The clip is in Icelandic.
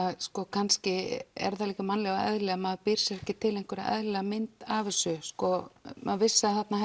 kannski er það líka í mannlegu eðli að maður býr sér ekki til eðlilega mynd af þessu maður vissi að þarna